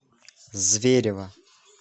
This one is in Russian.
зверево